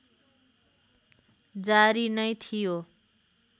जारी नै थियो